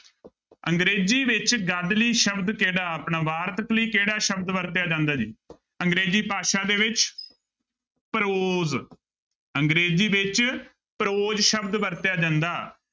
ਅੰਗਰੇਜ਼ੀ ਵਿੱਚ ਗਦ ਲਈ ਸ਼ਬਦ ਕਿਹੜਾ ਆਪਣਾ ਵਾਰਤਕ ਲਈ ਕਿਹੜਾ ਸ਼ਬਦ ਵਰਤਿਆ ਜਾਂਦਾ ਜੀ ਅੰਗਰੇਜ਼ੀ ਭਾਸ਼ਾ ਦੇ ਵਿੱਚ prose ਅੰਗਰੇਜ਼ੀ ਵਿੱਚ prose ਸ਼ਬਦ ਵਰਤਿਆ ਜਾਂਦਾ।